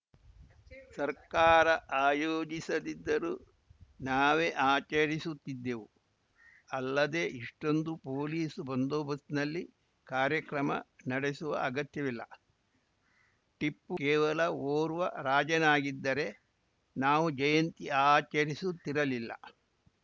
ಸರ್ಕಾರ ಆಯೋಜಿಸದಿದ್ದರೂ ನಾವೇ ಆಚರಿಸುತ್ತಿದ್ದೆವು ಅಲ್ಲದೆ ಇಷ್ಟೊಂದು ಪೊಲೀಸ್‌ ಬಂದೋಬಸ್ತ್ ನಲ್ಲಿ ಕಾರ್ಯಕ್ರಮ ನಡೆಸುವ ಅಗತ್ಯವಿಲ್ಲ ಟಿಪ್ಪು ಕೇವಲ ಓರ್ವ ರಾಜನಾಗಿದ್ದರೆ ನಾವು ಜಯಂತಿ ಆಚರಿಸುತ್ತಿರಲಿಲ್ಲ